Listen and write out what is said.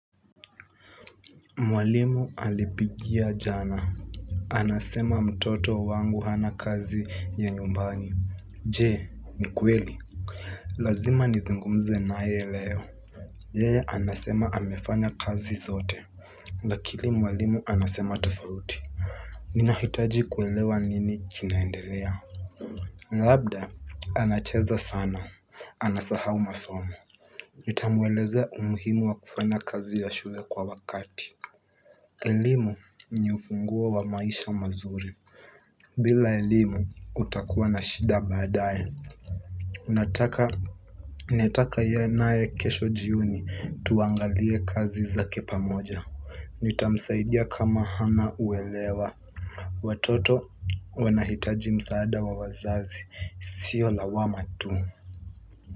Mwalimu alipigia jana anasema mtoto wangu hana kazi ya nyumbani. Je, ni kweli? Lazima nizungumze naye leo yeye anasema amefanya kazi zote. Lakini mwalimu anasema tofauti. Ninahitaji kuelewa nini kinaendelea. Labda anacheza sana anasahau masomo. Nitamwelezea umuhimu wa kufanya kazi ya shule kwa wakati. Elimu ni ufunguo wa maisha mazuri. Bila elimu utakuwa na shida baadaye unataka ninataka niwe naye kesho jioni tuangalie kazi za kipamoja. Nitamsaidia kama hana uelewa. Watoto wanahitaji msaada wa wazazi sio lawama tu.